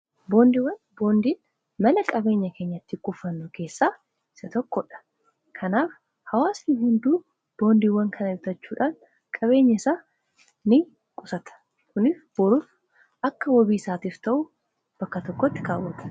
Boondiiwwan: boondiin mala qabeenya keenyatti kufannu keessaa isa tokkodha. kanaaf hawaastii hunduu boondiiwwan kana bitachuudhaan qabeenya isaa ni qusata. kunis boruuf akka wabii isaatiif ta'uu bakka tokkotti kaawwata.